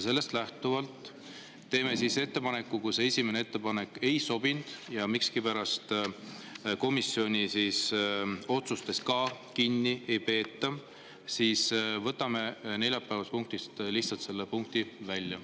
Sellest lähtuvalt teeme ettepaneku: kui see esimene ettepanek ei sobi ja miskipärast komisjoni otsustest ka kinni ei peeta, siis võtame lihtsalt neljapäevasest päevakorrast selle punkti välja.